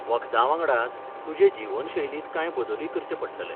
वखदां वांगडाच, तुजे जीवनशैलींत कांय बदलूय करचें पडटले.